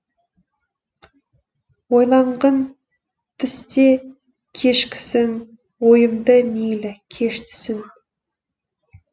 ойланғын түсте кешкісін ойымды мейлі кеш түсін